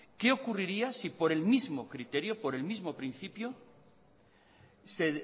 qué ocurriría si por el mismo criterio